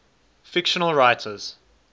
fictional writers